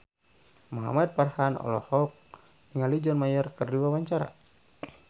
Muhamad Farhan olohok ningali John Mayer keur diwawancara